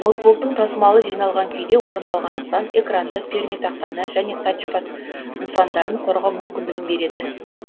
ноутбуктың тасымалы жиналған күйде орындалғандықтан экранды пернетақтаны және тачпад нысандарын қорғау мүмкіндігін береді